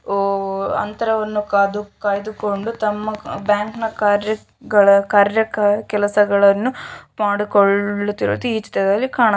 ಹೊ ಅಂತರವನ್ನು ಕಾಯ್ದುಕೊಂಡು ತಮ್ಮ ಬ್ಯಾಂಕುಗಳ ಕಾರ್ಯ ಕಾರ್ಯ ಕೆಲಸಗಳನ್ನು ಮಾಡಿಕೊಳ್ಳುತ್ತಿರುವುದು ಈ ಚಿತ್ರದಲ್ಲಿ ಕಾಣುತ್ತಾ ಇದೆ.